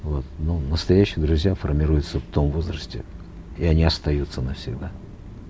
вот но настоящие друзья формируются в том возрасте и они остаются навсегда